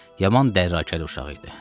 Yaman dərakəli uşaq idi.